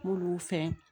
N b'olu fɛn